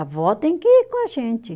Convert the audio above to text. A vó tem que ir com a gente.